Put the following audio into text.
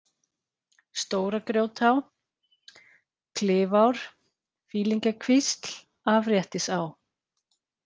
Stóra-Grjótá, Klifár, Fýlingjakvísl, Afréttisá